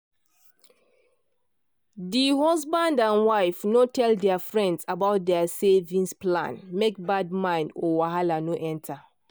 the husband and wife no tell their friends about their savings plan make bad mind or wahala no enter.